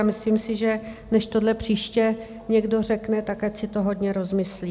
A myslím si, že než tohle příště někdo řekne, tak ať si to hodně rozmyslí.